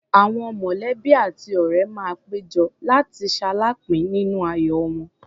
Àwọn mọ̀lẹ́bí àti ọ̀ré máa pé jọ, láti ṣaláàápín nínú ayọ̀ wọn.